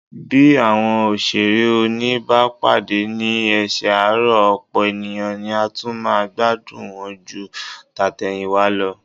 Bí àwọn òṣèré òní bá padà sí ẹsẹ̀ àárọ̀, ọ̀pọ̀ ènìyàn ni a tún máa gbádùn wọn ju tàtẹ̀yìnwá lọ